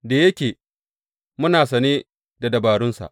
Da yake muna sane da dabarunsa.